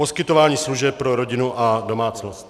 Poskytování služeb pro rodinu a domácnost.